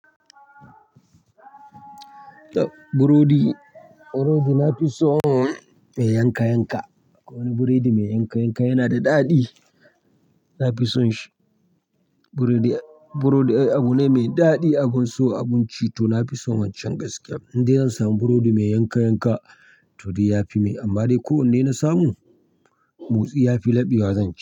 Burodi, burodi na fi so mai yanka yanka. Wani burodi mai yanka yanka yana da daɗi. Na fi son shi. Burodi, burodi ai abu ne mai daɗi. Abun so, abun ci to na fi son wancan gaskiya. Indai zan samu burodi mai yanka yanka to dai yafi min, amma dai ko wanne na samu motsi yafi laɓewa zan ci.